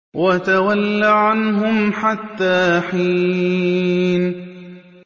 وَتَوَلَّ عَنْهُمْ حَتَّىٰ حِينٍ